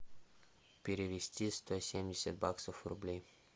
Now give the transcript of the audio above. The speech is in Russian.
перевести сто семьдесят баксов в рубли